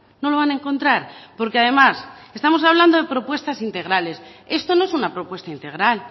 no lo van a encontrar porque además estamos hablando de propuestas integrales esto no es una propuesta integral